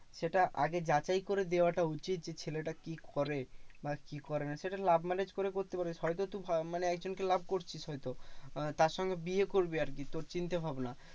সেটা আগে যাচাই করে দেওয়াটা উচিত যে ছেলেটা কি করে বা কি করে না? সেটা love marriage করে করতে পারে। হয়তো তুই মানে একজনকে love করছিস হয়তো আহ তারসঙ্গে বিয়ে করবি আরকি, তোর চিন্তাভাবনা।